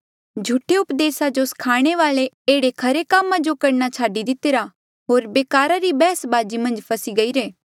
झूठे उपदेसा जो स्खाणे वाले एह्ड़े खरे कामा जो करणा छाडी दितिरा होर बेकारा री बैहसबाजी मन्झ फसी गईरे